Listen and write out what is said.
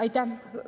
Aitäh!